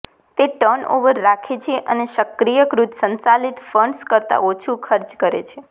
તે ટર્નઓવર રાખે છે અને સક્રિયકૃત સંચાલિત ફંડ્સ કરતાં ઓછું ખર્ચ કરે છે